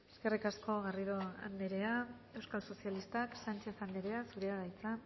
eskerrik asko garrido andrea euskal sozialistak sánchez andrea zurea da hitza